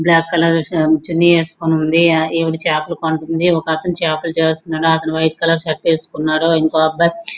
Black colour చున్నీ వేసుకుని ఉంది ఈవిడ చేపలు కొంటుంది. ఒక అతను చేపలు చేస్తున్నాడు అతను వైట్ కలర్ షర్ట్ వేసుకున్నాడు. ఇంకో అబ్బాయి --